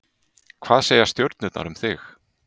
Hvað segja stjörnurnar um þig?